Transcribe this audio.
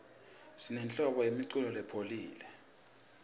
sinenhlobo yemiculo lopholile